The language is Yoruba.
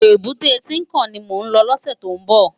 Ébùté Tinkán ni mó lò lòsè tó n bò